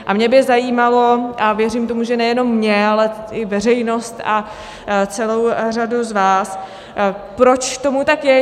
A mě by zajímalo, a věřím tomu, že nejenom mě, ale i veřejnost a celou řadu z vás, proč tomu tak je.